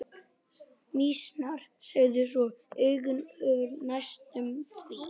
Mýsnar sigu svo augun hurfu næstum því.